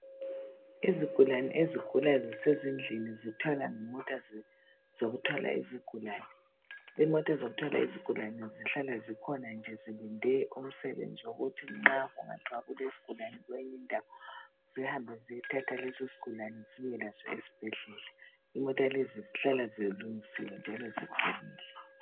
Izigulane ezigula zisezindlini zithwalwa ngemota zokuthwala izigulane. Imota zokuthwala izigulane zihlala zikhona nje zilinde umsebenzi wokuthi nxa kungathwa kulesigulane kweyinye indawo zihambe ziyothatha lesosigulane zibuye laso esibhedlela. Imota lezi zihlala zilungisiwe njalo ziqinile